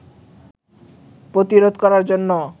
প্রতিরোধ করার জন্য